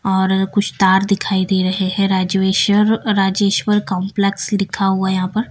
और कुछ तार दिखाई दे रहे हैं राजवेश्वर राजेश्वर कॉम्प्लेक्स लिखा हुआ है यहां पर।